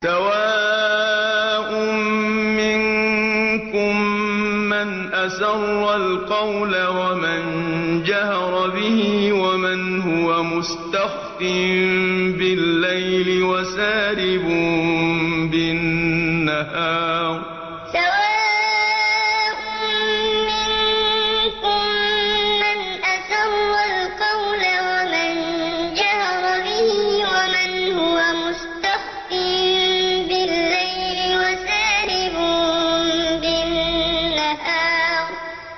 سَوَاءٌ مِّنكُم مَّنْ أَسَرَّ الْقَوْلَ وَمَن جَهَرَ بِهِ وَمَنْ هُوَ مُسْتَخْفٍ بِاللَّيْلِ وَسَارِبٌ بِالنَّهَارِ سَوَاءٌ مِّنكُم مَّنْ أَسَرَّ الْقَوْلَ وَمَن جَهَرَ بِهِ وَمَنْ هُوَ مُسْتَخْفٍ بِاللَّيْلِ وَسَارِبٌ بِالنَّهَارِ